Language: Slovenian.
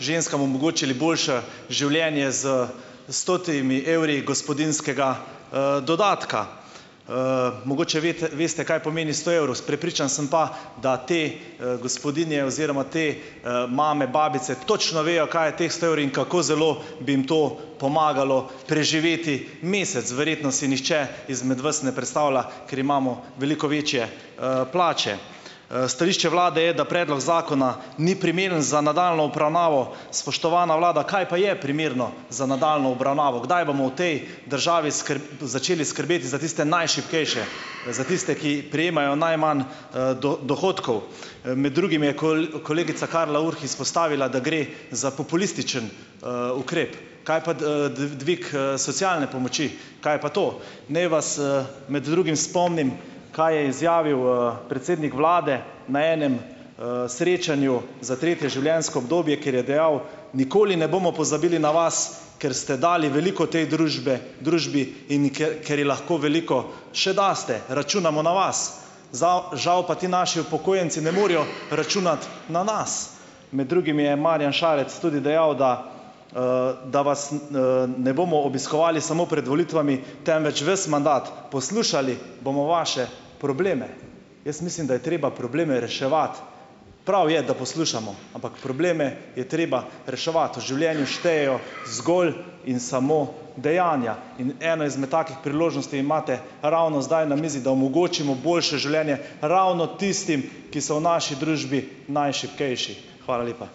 ženskam omogočili boljše življenje s stotimi evri gospodinjskega, dodatka. Mogoče veste, veste, kaj pomeni sto evrov, Prepričan sem pa, da te, gospodinje oziroma te, mame, babice točno vejo, kaj je teh sto evrov in kako zelo bi jim to pomagalo preživeti mesec, verjetno si nihče izmed vas ne predstavlja, ker imamo veliko večje, plače. Stališče vlade je, da predlog zakona ni primeren za nadaljnjo obravnavo. Spoštovana vlada, kaj pa je primerno za nadaljnjo obravnavo? Kdaj bomo v tej državi začeli skrbeti za tiste najšibkejše? Za tiste, ki prejemajo najmanj, dohodkov? Med drugim je koli kolegica Karla Urh izpostavila, da gre za populistični, ukrep. Kaj pa d, d, dvig, socialne pomoči? Kaj je pa to? Naj vas, med drugim spomnim, kaj je izjavil, predsednik vlade na enem, srečanju za tretje življenjsko obdobje, kjer je dejal: "Nikoli ne bomo pozabili na vas, ker ste dali veliko tej družbe, družbi, in in ker ker ji lahko veliko še daste. Računamo na vas." Žav, žav pa ti naši upokojenci ne morejo računati na nas. Med drugim je Marjan Šarec tudi dejal, da, da vas, n, "ne bomo obiskovali samo pred volitvami, temveč ves mandat". "Poslušali bomo vaše probleme." Jaz mislim, da je treba probleme reševati. Prav je, da poslušamo, ampak probleme je treba reševati. V življenju štejejo zgolj in samo dejanja. In eno izmed takih priložnosti imate ravno zdaj na mizi, da omogočimo boljše življenje ravno tistim, ki so v naši družbi najšibkejši. Hvala lepa.